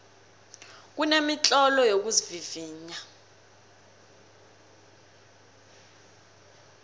kunemitlolo yokuzivivinya